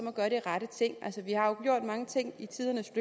at gøre de rette ting vi har gjort mange ting i tidens